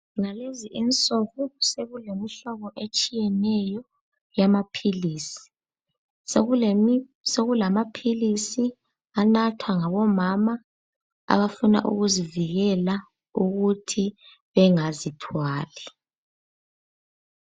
Ngalezi insuku sokulemihlobo etshiyeneyo yamaphilisi. Sokulamaphilisi anathwa ngabomama abafuna ukuzivikela ukuthi bengazithwali.